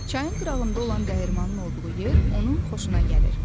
Çayın qırağında olan dəyirmanin olduğu yer onun xoşuna gəlir.